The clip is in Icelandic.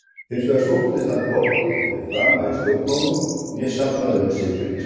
Hins vegar sóttist hann hvorki eftir frama í stjórnmálum né safnaði um sig fylgismönnum.